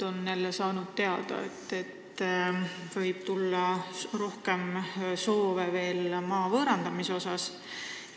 On nad ju saanud teada, et võib-olla soovitakse neilt veel rohkem maad võõrandada.